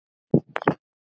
Ég kann að brúka hann.